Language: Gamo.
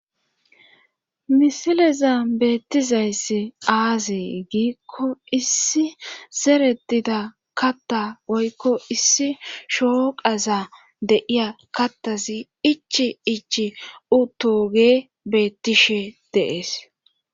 misileza beettizayssi aazee giikko issi zeretida katta woykko issi shooqaza de'iya kattazi ichi ichi uttoge beettishe de'ees